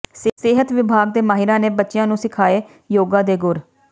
ਸਿਹਤ ਵਿਭਾਗ ਦੇ ਮਾਹਿਰਾਂ ਨੇ ਬੱਚਿਆਂ ਨੰੂ ਸਿਖਾਏ ਯੋਗਾ ਦੇ ਗੁਰ